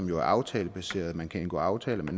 jo aftalebaseret og man kan indgå aftaler med